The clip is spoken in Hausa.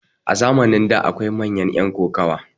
a zamanin da akwai manyan yan kokowa